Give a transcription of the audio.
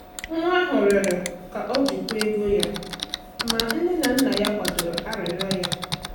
Nwa ahụ rịọrọ ka o jikwaa ego ya ma nne na nna kwadoro arịrịọ ya.